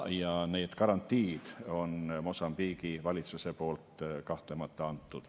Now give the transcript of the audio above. Ja need garantiid on Mosambiigi valitsuse poolt kahtlemata antud.